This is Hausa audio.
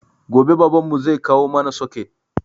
Gobe baban mu zai kawo mana soket